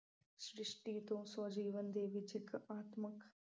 ਸ਼੍ਰਿਸ਼ਟੀ ਤੋਂ ਸਵੈ-ਜੀਵਨ ਦੇ ਵਿੱਚ ਇੱਕ ਆਤਮਕ